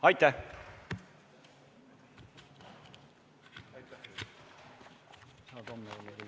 Istungi lõpp kell 00.02.